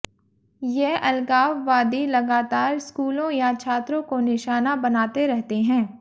ये अलगाववादी लगातार स्कूलों या छात्रों को निशाना बनाते रहते हैं